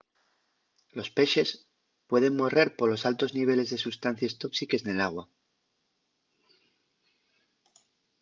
los pexes pueden morrer polos altos niveles de sustancies tóxiques nel agua